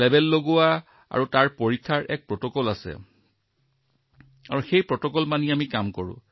আৰু লেবেল আৰু পৰীক্ষাৰ সম্পূৰ্ণ প্ৰটকল থাকে আৰু সেই প্ৰটকলৰ অধীনত কাম হয়